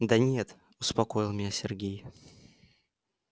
да нет успокоил меня сергей